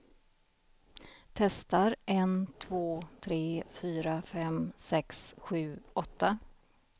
Testar en två tre fyra fem sex sju åtta.